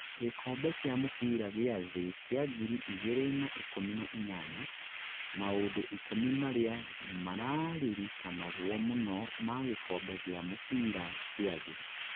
gĩkombe kĩa mũbĩra gĩa thĩ kia ngiri igĩrĩ na ikũmi na inyanya: maũndũ ikũmi maria mararirikanagwo mũno ma gĩkombe gĩa mũbĩra kĩa thĩ